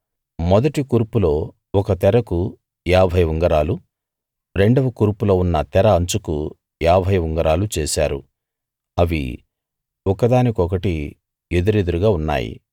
మొదటి కూర్పులో ఒక తెరకు ఏభై ఉంగరాలు రెండవ కూర్పులో ఉన్న తెర అంచుకు ఏభై ఉంగరాలు చేశారు అవి ఒకదానికొకటి ఎదురెదురుగా ఉన్నాయి